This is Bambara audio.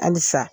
Halisa